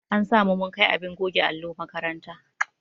An sa mu mun kai abin goge allo makaranta.